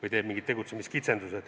või kehtestab mingid tegutsemiskitsendused.